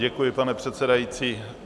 Děkuji, pane předsedající.